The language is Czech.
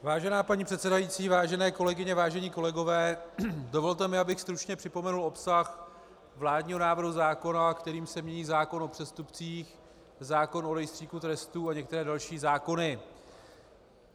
Vážená paní předsedající, vážené kolegyně, vážení kolegové, dovolte mi, abych stručně připomenul obsah vládního návrhu zákona, kterým se mění zákon o přestupcích, zákon o Rejstříku trestů a některé další zákony.